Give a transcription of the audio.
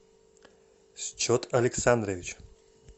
счет александрович